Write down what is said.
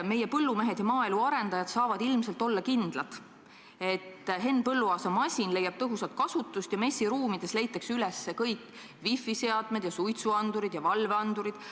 Meie põllumehed ja maaelu arendajad saavad ilmselt olla kindlad, et Henn Põlluaasa masin leiab tõhusat kasutust ja MES-i ruumides leitakse üles kõik wifiseadmed, suitsuandurid ja valveandurid.